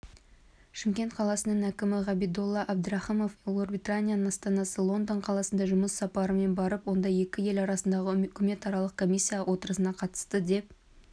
шымкент қаласының әкімі ғабидолла әбдіраіымов ұлыбритания астанасы лондон қаласына жұмыс сапарымен барып онда екі ел арасындағы үкіметаралық комиссия отырысына қатысты деп